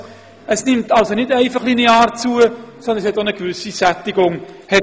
Die Zahlen nehmen somit nicht einfach linear zu, es fand auch eine gewisse Sättigung statt.